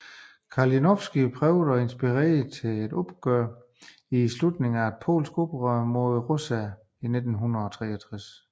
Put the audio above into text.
Kalinowski prøvede at inspirere til et oprør i tilslutning til et polsk oprør mod russerne i 1863